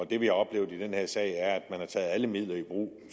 det vi har oplevet i den her sag er at man har taget alle midler i brug